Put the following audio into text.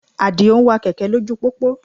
Àdìó ń wa kẹ̀kẹ́ lójú pópó